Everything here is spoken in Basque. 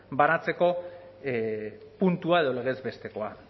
banatzeko puntua edo legez bestekoa